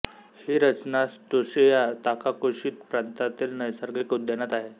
ही रचना Tsuchiya Takakoshi प्रांतातील नैसर्गिक उद्यानात आहे